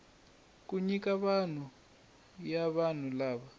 kuma nyiko ya vanhu lava